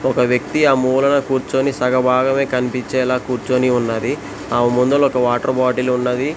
ఒక వ్యక్తి ఆ మూలన కూర్చుని సగభాగమే కనిపించేలా కూర్చుని ఉన్నది ఆమె ముందల ఒక వాటర్ బాటిల్ ఉన్నది.